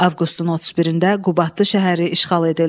Avqustun 31-də Qubadlı şəhəri işğal edildi.